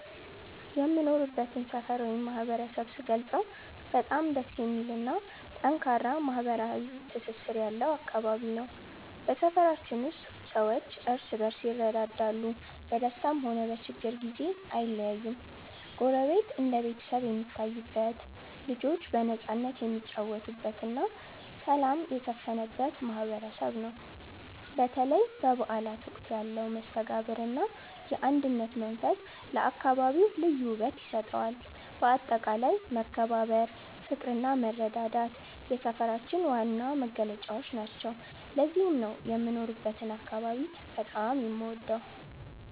የምኖርበትን ሰፈር ወይም ማህበረሰብ ስገልጸው በጣም ደስ የሚልና ጠንካራ ማህበራዊ ትስስር ያለው አካባቢ ነው። በሰፈራችን ውስጥ ሰዎች እርስ በርስ ይረዳዳሉ፤ በደስታም ሆነ በችግር ጊዜ አይለያዩም። ጎረቤት እንደ ቤተሰብ የሚታይበት፣ ልጆች በነፃነት የሚጫወቱበትና ሰላም የሰፈነበት ማህበረሰብ ነው። በተለይ በበዓላት ወቅት ያለው መስተጋብርና የአንድነት መንፈስ ለአካባቢው ልዩ ውበት ይሰጠዋል። በአጠቃላይ መከባበር፣ ፍቅርና መረዳዳት የሰፈራችን ዋና መገለጫዎች ናቸው። ለዚህም ነው የምኖርበትን አካባቢ በጣም የምወደው።